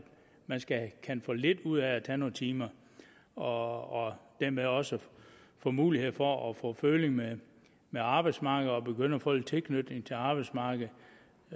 man kan få lidt ud af at tage nogle timer og dermed også få mulighed for at få føling med med arbejdsmarkedet og begynde at få en tilknytning til arbejdsmarkedet